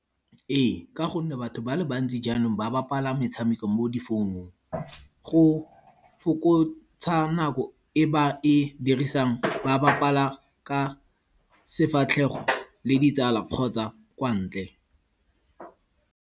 Ee, ka gonne batho ba le bantsi jaanong ba bapala metshameko mo difounung. Go fokotsa nako e ba e dirisang ba bapala ka sefatlhego le ditsala kgotsa kwa ntle.